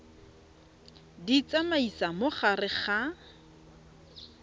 di tsamaisa mo gare ga